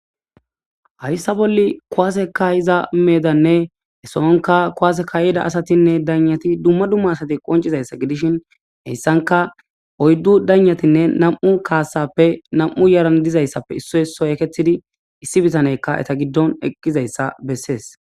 hayssa bolli kowaaseka iza meedanne esoonka kowaase kayida asatinne daynyati dumma dumma asati qoncizayssa gidishin heyssanka oyddu daynatinne nam7u kaasappe nam7u yaran dizayssappe issoysoy eketidi issi bitaneykka eta giddon eqqizayssa bessees